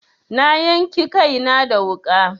Na yanki kaina da wuƙa.